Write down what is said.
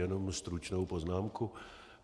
Jenom stručnou poznámku.